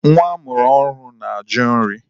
Nwa amụrụ ọhụrụ na-ajụ nri.